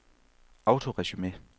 autoresume